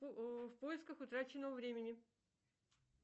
в поисках утраченного времени